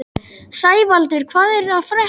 Sævaldur, hvað er að frétta?